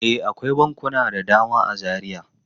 E, akwai bankuna da dama a Zaria.